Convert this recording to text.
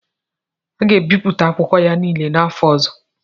A ga-ebipụta akwụkwọ ya niile n'afọ ọzọ.